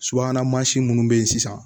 Subahana mansin minnu bɛ yen sisan